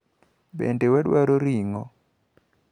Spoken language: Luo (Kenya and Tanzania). Bende wadwaro ring`o?